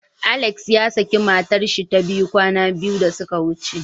Alex yasaki matarshi ta biyu kwana biyu da suka wuce.